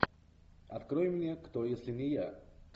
открой мне кто если не я